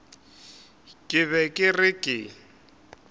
ke be ke re ke